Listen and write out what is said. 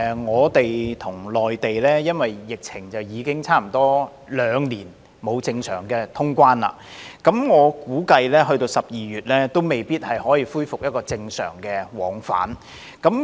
我們與內地因為疫情已差不多兩年沒有正常通關，我估計直至12月也未必可以恢復正常往返。